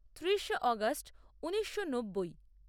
ত্রিশে August ঊনিশো নব্বই